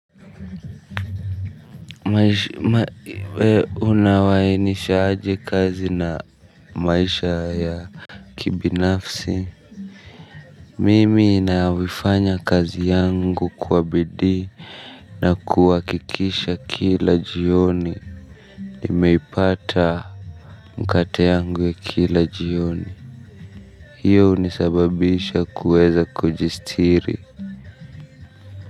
Wee unawainisha aje kazi na maisha ya kibinafsi. Mimi inawifanya kazi yangu kwa bidii na kuakikisha kila jioni nimeipata mkate yangu ya kila jioni. Hiyo unisababisha kuweza kujistiri.